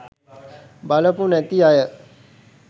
බලපු නැති අය